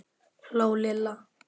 hló Lilla.